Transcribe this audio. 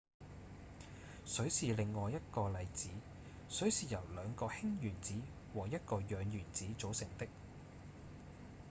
水是另一個例子水是由兩個氫原子和一個氧原子組成的